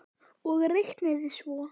Og reiknið svo.